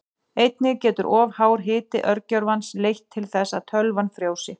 Einnig getur of hár hiti örgjörvans leitt til þess að tölvan frjósi.